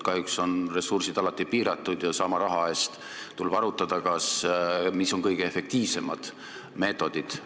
Kahjuks on ressursid alati piiratud ja tuleb arutada, mis on sama raha eest kõige efektiivsemad meetodid.